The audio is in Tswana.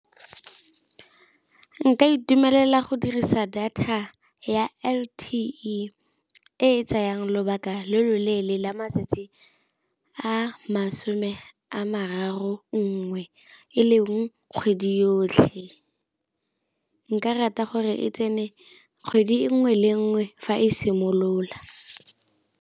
Nka itumelela go dirisa data ya L_T_E e e tsayang lobaka lo loleele la matsatsi a masome a mararo nngwe, e leng kgwedi yotlhe. Nka rata gore e tsene kgwedi nngwe le nngwe fa e simolola.